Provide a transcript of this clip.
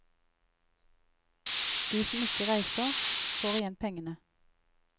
De som ikke reiser, får igjen pengene.